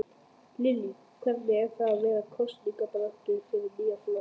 Lillý: Hvernig er það vera í kosningabaráttu fyrir nýjan flokk?